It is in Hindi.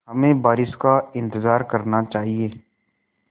हमें बारिश का इंतज़ार करना चाहिए